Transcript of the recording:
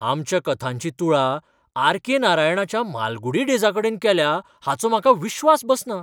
आमच्या कथांची तुळा आर.के. नारायणाच्या मालगुडी डेजाकडेन केल्या हाचो म्हाका विश्वास बसना!